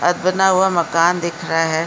और बना हुआ मकान दिख रहा है।